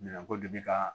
Minɛnko de bɛ ka